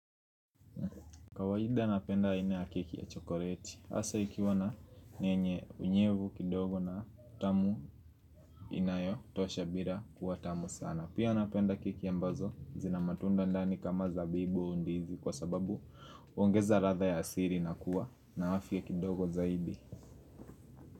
Kawaida napenda aina ya keki ya chokoreti hasa ikiwa yenyne unyevu kidogo na tamu inayotosha bira kuwa tamu sana. Pia napenda keki ambazo zina matunda ndani kama zabibu au ndizi Kwa sababu uongeza radha ya asiri na kuwa na afya kidogo zaidi.